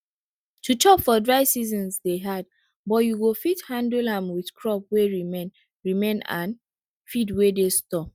to chop for dry seasons dey hard but you go fit handle am with crop wey remain remain and feed wey dey stored